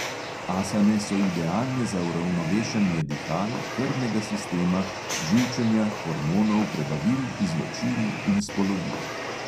Asane so idealne za uravnovešanje dihal, krvnega sistema, živčenja, hormonov, prebavil, izločil in spolovil.